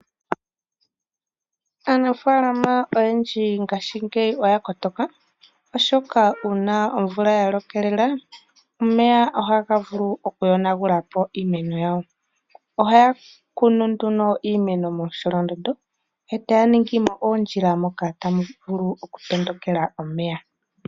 Aanafalama oyendji ngashi ngeyi oya kotoka oshoka uuna omvula yalokelela omeya oha vulu okuyona gulapo iimeno yawo ohaya kunu nduno iimeno momsholondondo etaya ningi oondjila moka tamu vulu okutondo kela omeya.